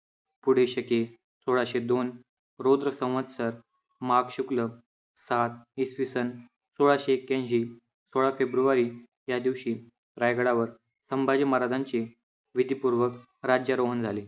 पुढे शके सोळाशे दोन रुद्र संवस्तर माघ शुक्ल सात इसवीसन सोळाशे ऐक्यांशी सोळा फेब्रुवारी या दिवशी रायगडावर संभाजी महाराजांचे विधीपूर्वक राज्यारोहण झाले.